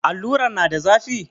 Alluran na da zafi?